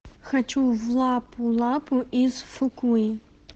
хочу в лапу лапу из фукуи